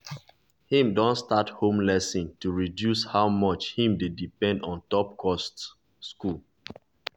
him don start home lesson to reduce how much him dey depend ontop cost cost school